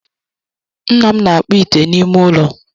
Nna m na akpụ ite na ime ụlọ